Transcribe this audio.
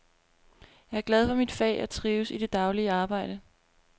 Jeg er glad for mit fag og trives i det daglige arbejde.